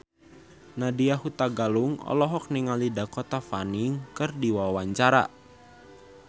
Nadya Hutagalung olohok ningali Dakota Fanning keur diwawancara